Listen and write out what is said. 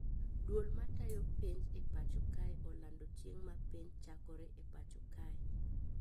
Duol matayo penj e pacho kae olando chieng` ma penj chakore e pacho kae